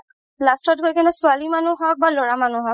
last ত গৈ কিনে ছোৱালি মানুহ হ'ক বা ল'ৰা মানুহ হওক